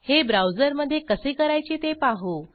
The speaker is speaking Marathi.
हे ब्राऊजरमध्ये कसे करायचे ते पाहू